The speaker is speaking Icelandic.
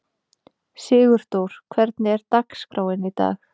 Sigurdór, hvernig er dagskráin í dag?